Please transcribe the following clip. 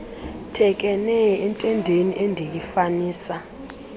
thekenee entendeni endiyifanisa